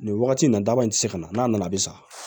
Nin wagati nin na daba in ti se ka na n'a nana bi sa